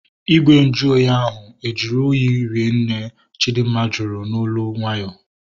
Igwe nju ahụ oyi ahu e juru oyi ri nne? Chidinma jụrụ n'olu nwayọọ